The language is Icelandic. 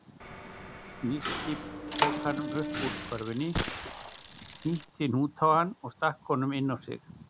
Nikki pokanum upp úr körfunni, hnýtti hnút á hann og stakk honum inn á sig.